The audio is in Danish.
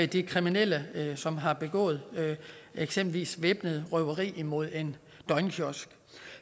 de kriminelle som har begået eksempelvis væbnet røveri mod en døgnkiosk